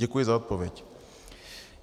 Děkuji za odpověď.